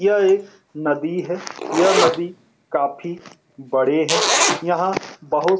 यह एक नदी है यह नदी काफी बड़े हैं यहाँ बहुत --